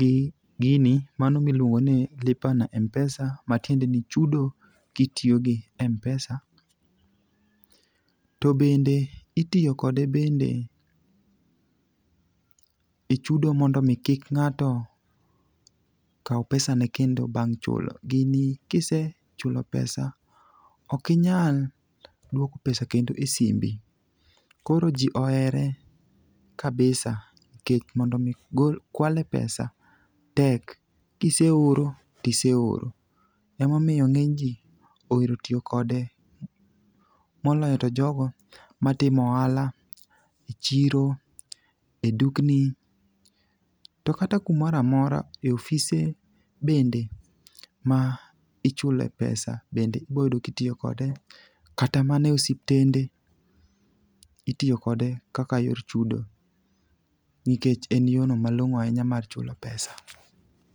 gi gini mano miluongoni lipa na m-pesa, matiendeni ni chudo kitiyo gi m-pesa. To bende, itiyo kode bende e chudo mondo omi kik ng'ato kaw pesane kendo bang' chulo. Gini kisechulo pesa, ok inyal dwoko pesa kendo e simbi. Koro ji ohere kabisa nikech mondo omi kwale pesa tek, kiseoro, tiseoro. Emomiyo ng'enyji ohero tiyo kode, moloyo to jogo matimo ohala e chiro,e dukni, to kata kumora mora ,e ofise bende ma ichule pesa bende iboyudo kitiyo kode. Kata mana e osiptende, itiyo kode kaka yor chudo nikech en yorno malong'o ahinya mar chulo pesa.